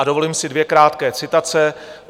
A dovolím si dvě krátké citace.